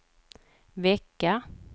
vecka